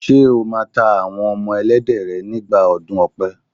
Ṣé o máa tá Àwọn ọmọ Ẹlẹ́dẹ̀ rẹ nígbà ọdún ọ̀pẹ?